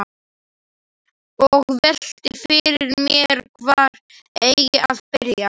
Og velti fyrir mér hvar eigi að byrja.